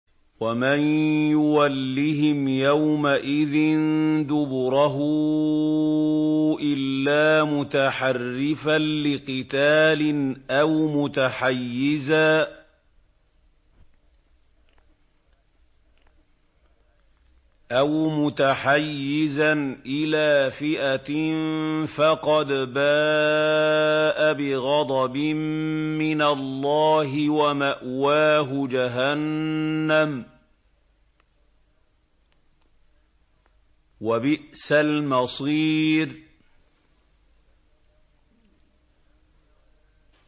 وَمَن يُوَلِّهِمْ يَوْمَئِذٍ دُبُرَهُ إِلَّا مُتَحَرِّفًا لِّقِتَالٍ أَوْ مُتَحَيِّزًا إِلَىٰ فِئَةٍ فَقَدْ بَاءَ بِغَضَبٍ مِّنَ اللَّهِ وَمَأْوَاهُ جَهَنَّمُ ۖ وَبِئْسَ الْمَصِيرُ